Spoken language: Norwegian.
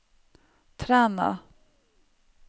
Træna